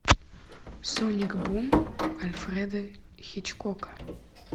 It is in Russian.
соник бум альфреда хичкока